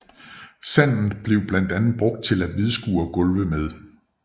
Sandet blev blandt andet brugt til at hvidskure gulve med